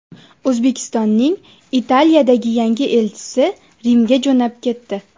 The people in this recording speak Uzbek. O‘zbekistonning Italiyadagi yangi elchisi Rimga jo‘nab ketdi.